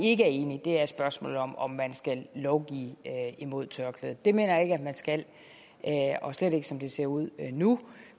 er enige er i spørgsmålet om om man skal lovgive imod tørklædet det mener jeg ikke at man skal og slet ikke som det ser ud nu